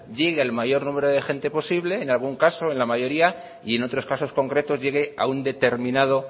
llegue al mayor número de gente posible en algún caso en la mayoría y en otros casos concretos llegue a un determinado